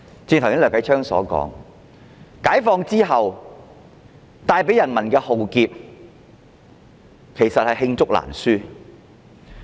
正如梁繼昌議員所說，解放後帶給人民的浩劫，其實罄竹難書。